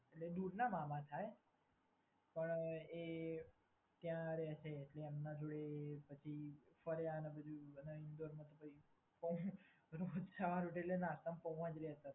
એટલે દૂરના મામા થાય પણ એ ત્યાં રહે છે એટલે ત્યાં એમના જોડે ફર્યા અને પછી ચાર વાગે એટલે નાસ્તામાં